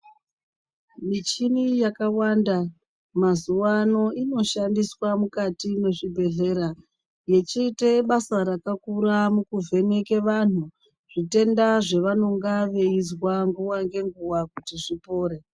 Michini yakawanda mazuvano inoshandiswa mukati mwezvibhehlera. Yechiite basa rakakura mukuvheke vanhu zvitenda zvevanenge veizwa nguva ngenguva kuti zvipore.